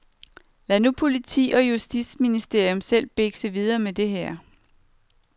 Så lad nu politi og justitsministerium selv bikse videre med det her.